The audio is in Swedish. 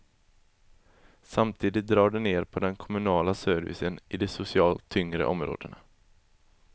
Samtidigt drar de ned på den kommunala servicen i de socialt tyngre områdena.